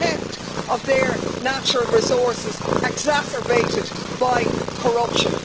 the theft of their natural resources exacerbated by corruption.